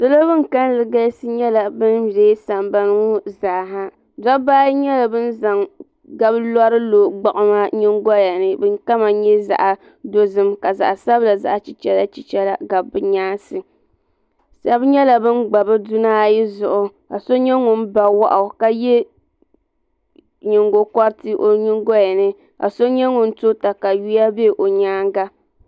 Salo ban kalli galisi nyɛla ban dee sambani ŋɔ zaa ha dobba ayi nyɛla ban zaŋ gablori lo gbiɣuma nyingoyani din kama nyɛ zaɣa dozim ka zaɣa sabila zaɣa chichera chichera gabi di nyaansi Sheba nyɛla bin gba bɛ duna ayi zuɣu ka so nyɛ ŋun ba wahu ka ye nyingoliti o nyingoya ni ka so nyɛ ŋun to takawiya be o nyaanga.